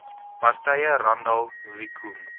partye randall wicomb